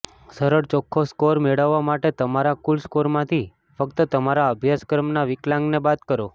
સરળ ચોખ્ખો સ્કોર મેળવવા માટે તમારા કુલ સ્કોરમાંથી ફક્ત તમારા અભ્યાસક્રમના વિકલાંગને બાદ કરો